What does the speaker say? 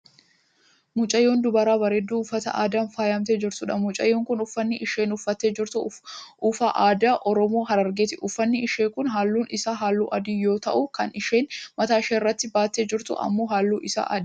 mucayyoo dubaraa bareedduu , uffata aadaan faayamtee jirtudha. mucayyoon kun uffanni isheen uffattee jirtu uffa aadaa oromoo Harargeeti. uffanni ishee kun halluun isaa halluu adii yoo ta'u kan isheen mataa isheerratti baattee jirtu ammoo halluun isaa diimaadha.